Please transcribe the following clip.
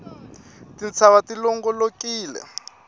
tintshava ti longolokile